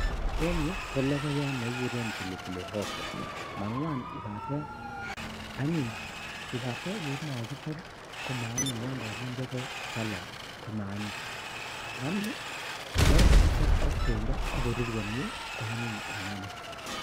En yu ko logoyaat nekikuuren pilipili hoho, ngwan ibaten yon kokichob komie, yon kokindee ko salad kama anyiny. lakini yon kokichob ak bendo ak koruur ko anyiny eng anee